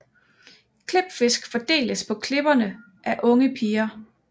Klipfisk fordeles på klipperne af unge piger